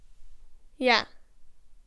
Ja.